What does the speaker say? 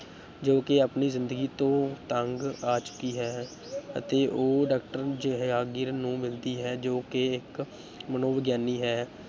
ਜੋ ਕਿ ਆਪਣੀ ਜ਼ਿੰਦਗੀ ਤੋਂ ਤੰਗ ਆ ਚੁੱਕੀ ਹੈ ਅਤੇ ਉਹ doctor ਜੇਹਾਂਗੀਰ ਨੂੰ ਮਿਲਦੀ ਹੈ, ਜੋ ਕਿ ਇੱਕ ਮਨੋਵਿਗਿਆਨੀ ਹੈ।